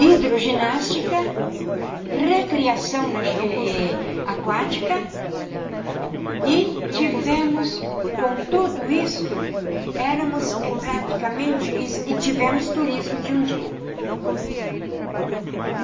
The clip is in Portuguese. hidroginástica, recriação eh eh aquática, e tivemos, com tudo isto, éramos praticamente e e tivemos turismo de um dia.